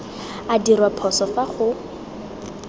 a dirwa phoso fa go